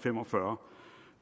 fem og fyrre